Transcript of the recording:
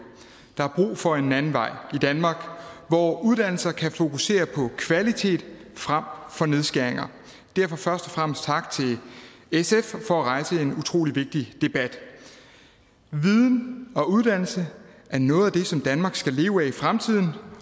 der er brug for en anden vej i danmark hvor uddannelser kan fokusere på kvalitet frem for nedskæringer derfor først og fremmest tak til sf for at rejse en utrolig vigtig debat viden og uddannelse er noget af det som danmark skal leve af i fremtiden